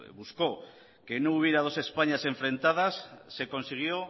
buscó que no hubiera dos españas enfrentadas se consiguió